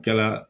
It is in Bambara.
Kɛla